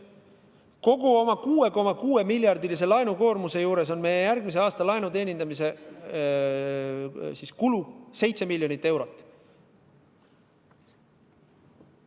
Kogu oma 6,6-miljardilise laenukoormuse juures on meie järgmise aasta laenu teenindamise kulu 7 miljonit eurot.